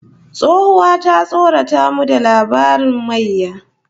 Tsohuwa ta tsorata mu da labarin mayya